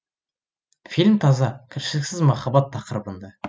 фильм таза кіршіксіз махаббат тақырыбында